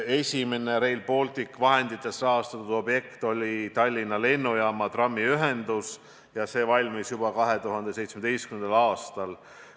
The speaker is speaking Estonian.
Esimene Rail Balticu vahenditest rahastatud objekt oli Tallinna Lennujaama trammiühendus ja see valmis juba 2017. aastal.